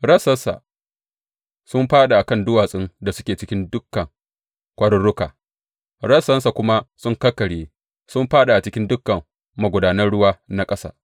Rassansa sun fāɗi a kan duwatsun da suke cikin dukan kwaruruka; rassansa kuma sun kakkarye, sun fāɗi a cikin dukan magudanan ruwa na ƙasa.